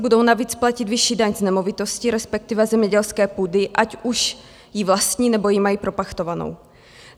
Budou navíc platit vyšší daň z nemovitostí, respektive zemědělské půdy, ať už ji vlastní, nebo ji mají propachtovanou.